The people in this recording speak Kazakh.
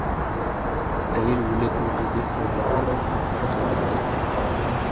әйел өлі туды деп ойлайды да апарып орап тастайды